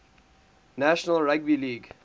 national rugby league